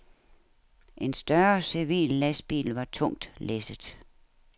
En større civil lastbil var tungt læsset.